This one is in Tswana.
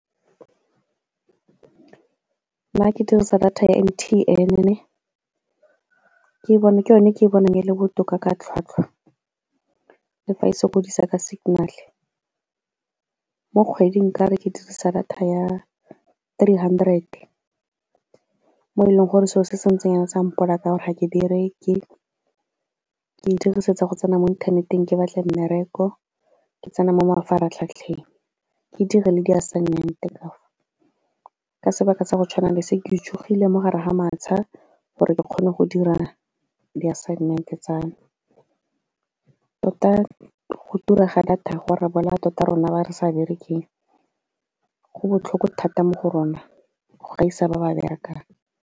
Nna ke dirisa data ya M_T_N ke yone e ke bonang e le botoka ka tlhwatlhwa, le fa e sa sokodisa ka signal-e. Mo kgweding nka re ke dirisa data ya three hundred mo e leng gore selo se se ntseng sa mpolaya ka gore ga ke bereke, ke e dirisetsa go tsena mo inthaneteng ke batle mmereko, ke tsene mo mafaratlhatlheng ke dire le di assignment , ka sebaka tsa go tshwana le se, ke itse tsogile mo gare ga matsha gore ke kgone go dira di-assignment tsa me. Tota go tura ga data go re bolaya tota rona ba re sa berekang, go botlhoko thata mo go rona go gaisa ba ba berekang.